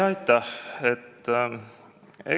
Aitäh!